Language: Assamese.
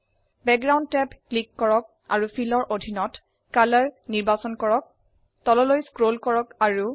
বেকগ্ৰাউণ্ড টেব ক্লিক কৰক অাৰু Fillৰ অধিনত কলৰ নিৰ্বাচন কৰক